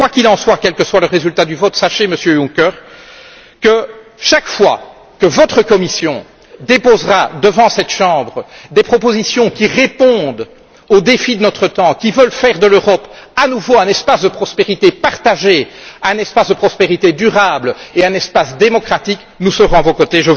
Quoi qu'il en soit et quel que soit le résultat du vote, sachez, Monsieur Juncker, que chaque fois que votre Commission déposera devant cette Chambre des propositions qui répondent aux défis de notre temps, qui veulent faire de l'Europe à nouveau un espace de prospérité partagé, un espace de prospérité durable et un espace démocratique, nous serons à vos côtés.